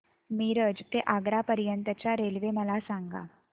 मिरज ते आग्रा पर्यंत च्या रेल्वे मला सांगा